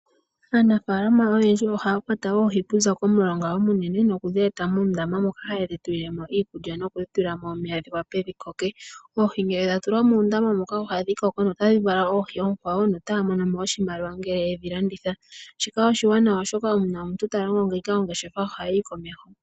Aanafaalama oyendji ohaya kwata oohi kuzà komulonga omunene noku dhi eta muundama moka haye dhi tulilemo iikulya nokudhi tulilamo omeya dhi wape dhi koke, oohi ngele dha tulwa muundama muka ohadhi koko nota dhi vala oohi onkwawo no taya monomo oshimaliwa ngele yedhi landitha, shika oshiwanawa oshoka uuna omuntu ta longo ngeyika ongeshefa ohayi yi komeho.